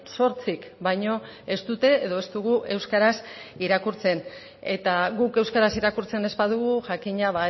zortzik baino ez dute edo ez dugu euskaraz irakurtzen eta guk euskaraz irakurtzen ez badugu jakina